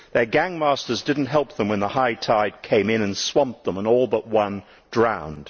Their gang masters did not help them when the high tide came in and swamped them, and all but one drowned.